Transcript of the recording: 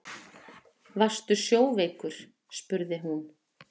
Varstu sjóveikur, spurði hún.